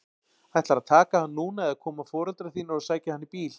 Ætlarðu að taka hann núna eða koma foreldrar þínir og sækja hann í bíl?